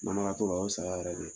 Mahawa t'o ba , o ye saya yɛrɛ de ye